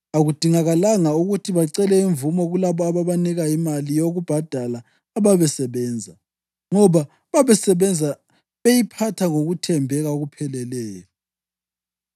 Akudingakalanga ukuthi bacele imvumo kulabo ababanika imali yokubhadala ababesebenza, ngoba babesebenza beyiphatha ngokuthembeka okupheleleyo.